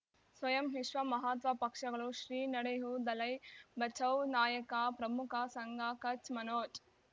ಸ್ವಯಂ ವಿಶ್ವ ಮಹಾತ್ಮ ಪಕ್ಷಗಳು ಶ್ರೀ ನಡೆಯೂ ದಲೈ ಬಚೌ ನಾಯಕ ಪ್ರಮುಖ ಸಂಘ ಕಚ್ ಮನೋಜ್